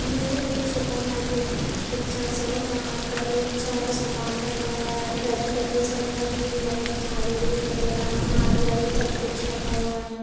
यह एक supermarket की पिक्चर्स है जहाँ पर बहुत सारा सामान रखा हुआ है वेजटेबल्स वगैरा भी है झाड़ू वगैरा नारियल सब कुछ रखा हुआ है।